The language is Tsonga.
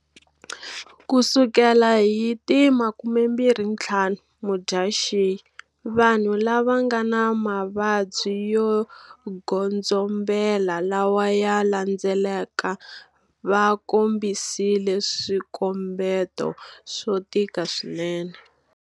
Ku sukela hi ti 25 Mudyaxihi, vanhu lava nga na mavabyi yo godzombela lawa ya landzelaka vakombisile swikombeto swo tika swinene-